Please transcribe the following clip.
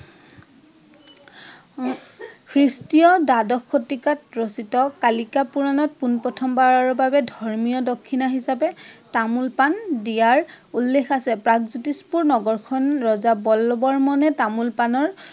খ্ৰীষ্টীয় দ্বাদশ শতিকাত ৰচিত কালিকা পুৰাণত পোনপ্ৰথম বাৰৰ বাবে ধৰ্মীয় দক্ষিণা হিচাপে তামোল পাণ দিয়াৰ উল্লেখ আছে। প্ৰাগজ্যোতিষপূৰ নগৰ খন ৰজা বল্ল বৰ্মনে তামোল পাণৰ